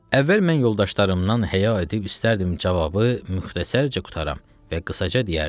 Əvvəl mən yoldaşlarımdan həya edib istəyərdim cavabı müxtəsərcə qurtaram və qısaca deyərdim.